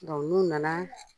n'u nana